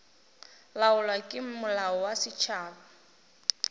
laolwa ke molao wa setšhaba